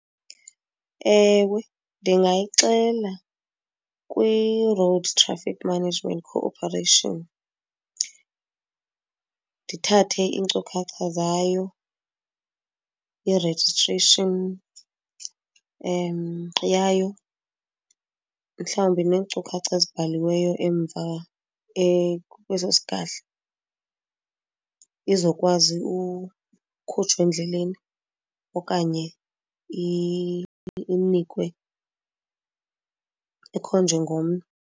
Ewe ndingayixela kwi-Road Traffic Management Cooperation ndithathe iinkcukacha zayo, i-registration yayo, mhlawumbi neenkcukacha ezibhaliweyo emva kweso sigadla izokwazi ukhutshwa endleleni okanye inikwe, ikhonjwe ngomnwe.